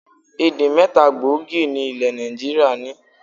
Èdè̀ mẹ́ta gbòógì ni ilẹ̀ Nàìjíríà ní.